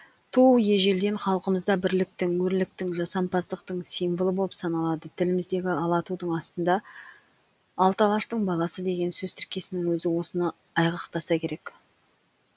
ту ежелден халқымызда бірліктің өрліктің жасампаздықтың символы болып саналады тіліміздегі ала тудың астында алты алаштың баласы деген сөз тіркесінің өзі осыны айғақтаса керек